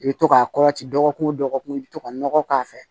I bɛ to k'a kɔrɔti dɔgɔkun o dɔgɔkun i bɛ to ka nɔgɔ k'a fɛ